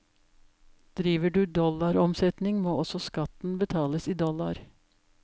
Driver du dollaromsetning må også skatten betales i dollar.